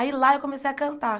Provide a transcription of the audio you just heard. Aí lá eu comecei a cantar.